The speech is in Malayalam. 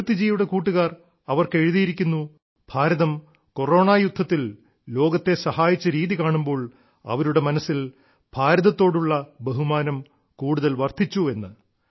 കീർത്തിജിയുടെ കൂട്ടുകാർ അവർക്ക് എഴുതിയിരിക്കുന്നു ഭാരതം കൊറോണ യുദ്ധത്തിൽ ലോകത്തെ സഹായിച്ച രീതി കാണുമ്പോൾ അവരുടെ മനസ്സിൽ ഭാരതത്തോടുള്ള ബഹുമാനം കൂടുതൽ വർദ്ധിച്ചെന്ന്